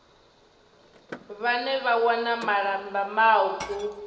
vhane vha wana malamba mauku